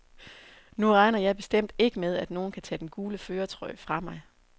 Nu regner jeg bestemt ikke med, at nogen kan tage den gule førertrøje fra mig.